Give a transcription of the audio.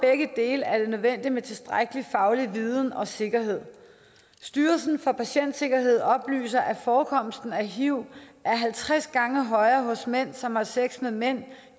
begge dele er det nødvendigt med tilstrækkelig faglig viden og sikkerhed styrelsen for patientsikkerhed oplyser at forekomsten af hiv er halvtreds gange højere hos mænd som har sex med mænd